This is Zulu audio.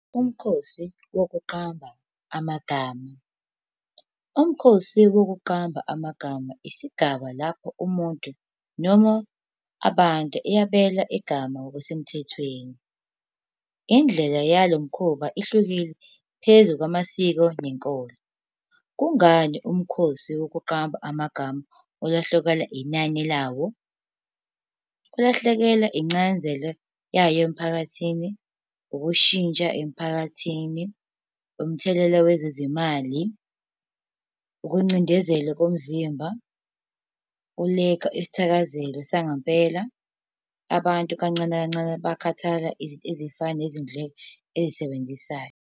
Umkhosi wokuqamba amagama. Umkhosi wokuqamba amagama, isigaba lapho umuntu noma abantu yabela igama ngokusemthethweni. Indlela yalo mkhuba ihlukile phezu kwamasiko nenkolo. Kungani umkhosi wokuqamba amagama ulahlekelwa inani lawo? Kulahlekela incazelo yayo emphakathini, ukushintsha emphakathini, umthelela wezezimali, ukuncindezelo komzimba. Kuleka isithakazelo sangempela. Abantu kancane kancane bakhathala ezifana nezindleko ezisebenzisayo.